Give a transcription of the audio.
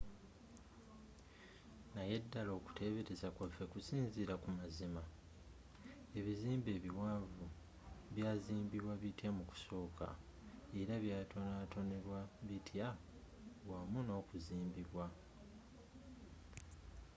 naye ddala okuteebereza kwaffe kusinziira ku mazima?ebizimbe ebiwanvu byazimbibwa bitya mu kusooka? era byatonatonebwa bitya wamu nokuzimbibwa?